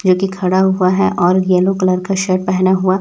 जो कि खड़ा हुआ है और येलो कलर का शर्ट पहना हुआ--